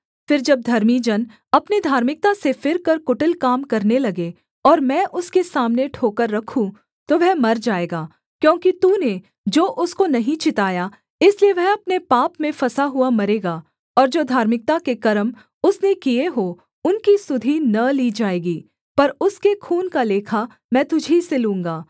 फिर जब धर्मी जन अपने धार्मिकता से फिरकर कुटिल काम करने लगे और मैं उसके सामने ठोकर रखूँ तो वह मर जाएगा क्योंकि तूने जो उसको नहीं चिताया इसलिए वह अपने पाप में फँसा हुआ मरेगा और जो धार्मिकता के कर्म उसने किए हों उनकी सुधि न ली जाएगी पर उसके खून का लेखा मैं तुझी से लूँगा